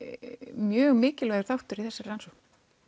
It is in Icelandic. mjög mikilvægur þáttur í þessari rannsókn